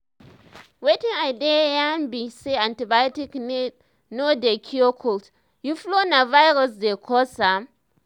wetin i dey yarn be say antibiotics no dey cure cold or flu na virus dey cause am.